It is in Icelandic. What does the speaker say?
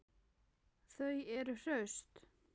Þau eru hraust